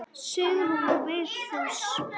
Sigrún og Vigfús.